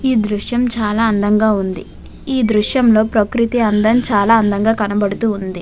ఈ దృశ్యం చాలా అందంగా ఉంది. ఈ దృశ్యంలో ప్రకృతి అందం చాలా అందంగా కనబడుతూ ఉంది.